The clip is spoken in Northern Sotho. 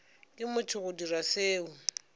ke motho go dira seo